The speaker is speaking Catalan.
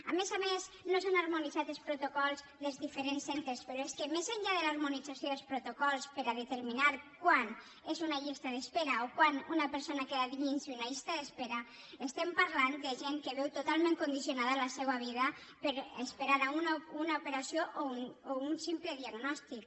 a més a més no s’han harmonitzat els protocols dels diferents centres però és que més enllà de l’harmonització dels protocols per determinar quan és una llista d’espera o quan una persona queda dins d’una llista d’espera estem parlant de gent que veu totalment condicionada la seva vida per esperar una operació o un simple diagnòstic